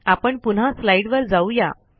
आपण पुन्हा स्लाईडवर जाऊ या